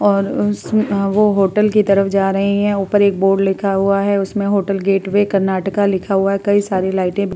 और उसमे वो होटल के तरफ जा रहे हैं। ऊपर एक बोर्ड लिखा हुआ है। उसमे होटल गेट वे कर्नाटक लिखा हुआ। कई सारे लाइटे --